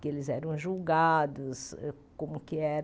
Que eles eram julgados, como que